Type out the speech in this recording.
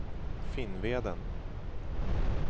Finnveden